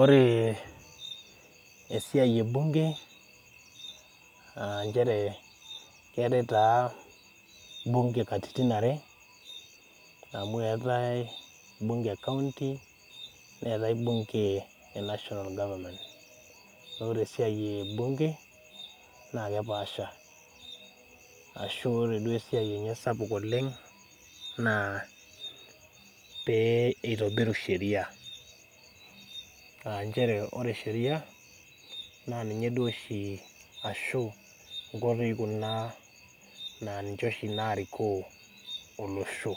Ore esiai ebunge naa nchere keetae taa bunge katitin are amu eetae bunge ekounty neetae bunge ee national government naa ore esiai ebunge naa kepaasha ashua ore duo esiai enye sapuk oleng naa pee eitobir sheria aa ore sheria naa nkoitoi oshi kuna naarikoo olosho